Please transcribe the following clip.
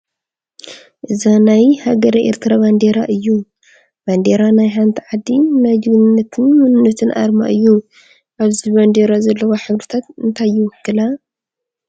እዚ ናይ ሃገረ ኤርትራ ባንዴራ እዩ፡፡ ባንዴራ ናይ ሓንቲ ዓዲ ናይ ጅግንነትን መንነትን ኣርማ እዩ፡፡ ኣብዚ ባንዴራ ዘለዋ ሕብርታት እንታይ ይውክላ?